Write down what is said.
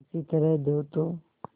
किसी तरह दो तो